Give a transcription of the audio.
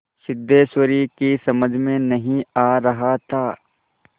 सिद्धेश्वरी की समझ में नहीं आ रहा था